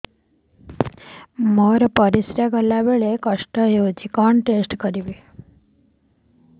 ମୋର ପରିସ୍ରା ଗଲାବେଳେ କଷ୍ଟ ହଉଚି କଣ ଟେଷ୍ଟ କରିବି